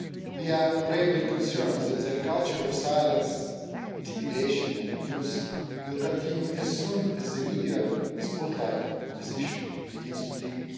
We are gravely concerned that the culture of silence, intimidation and abuse will continue as soon as the media spotlight on this issue begins to dim.